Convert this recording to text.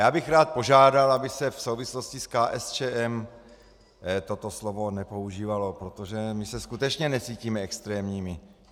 Já bych rád požádal, aby se v souvislosti s KSČM toto slovo nepoužívalo, protože my se skutečně necítíme extrémními.